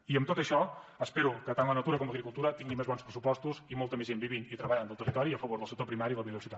i amb tot això espero que tant la natura com l’agricultura tinguin més bons pressupostos i molta més gent vivint i treballant al territori i a favor del sector primari i la biodiversitat